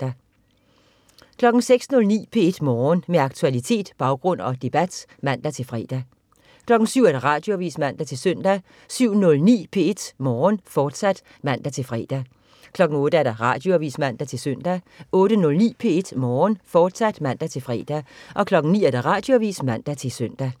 06.09 P1 Morgen. Med aktualitet, baggrund og debat (man-fre) 07.00 Radioavis (man-søn) 07.09 P1 Morgen, fortsat (man-fre) 08.00 Radioavis (man-søn) 08.09 P1 Morgen, fortsat (man-fre) 09.00 Radioavis (man-søn)